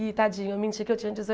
E, tadinho, eu menti que eu tinha